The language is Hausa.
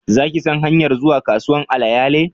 Za ki san hanyar zuwa kasuwan alayale?